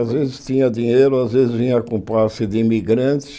Às vezes tinha dinheiro, às vezes vinha com passe de imigrante.